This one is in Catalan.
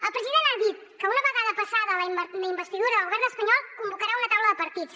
el president ha dit que una vegada passada la investidura del govern espanyol convocarà una taula de partits